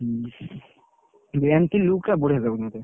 ହୁଁ MT look ଟା ବଢିଆ ଲାଗୁଛି ମତେ